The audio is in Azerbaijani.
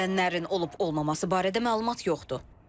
Ölənlərin olub-olmaması barədə məlumat yoxdur.